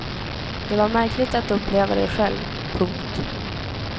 Det var märkligt att uppleva det själv. punkt